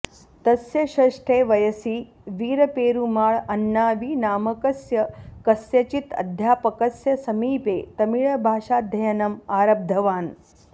तस्य षष्ठे वयसी वीरपेरुमाळ् अण्णावि नामकस्य कस्यचित् अध्यापकस्य समीपे तमिळभाषाध्ययनम् आरब्धवान्